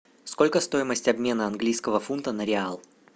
сколько стоимость обмена английского фунта на реал